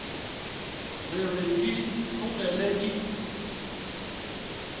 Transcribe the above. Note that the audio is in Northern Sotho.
re re di tlogele di